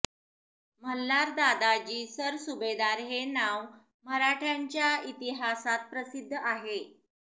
मल्हार दादाजी सरसुभेदार हें नांव मराठ्यांच्या इतिहासांत प्रसिद्ध आहे